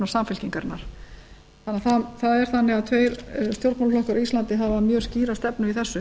samfylkingarinnar þannig að það er þannig að tveir stjórnmálaflokkar á íslandi hafa mjög skýra stefnu í þessu